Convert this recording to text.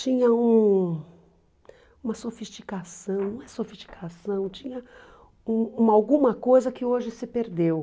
Tinha um uma sofisticação, não é sofisticação, tinha um uma alguma coisa que hoje se perdeu.